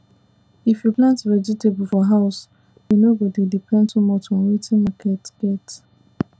if you plant vegetable for house you no go dey depend too much on wetin market get